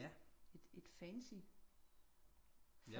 Et fancy